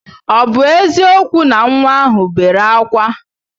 Ọ bụ eziokwu na nwa ahụ bere ákwá?